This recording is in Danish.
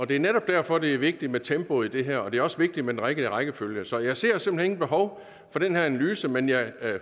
det er netop derfor det er vigtigt med tempoet i det her og det er også vigtigt med den rigtige rækkefølge så jeg ser simpelt hen intet behov for den her analyse men jeg